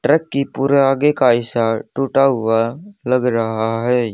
Truck की पूरा आगे का हिस्सा टूटा हुआ लग रहा है।